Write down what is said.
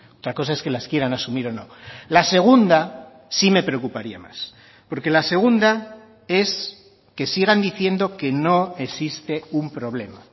otra cosa es que las quieran asumir o no la segunda sí me preocuparía más porque la segunda es que sigan diciendo que no existe un problema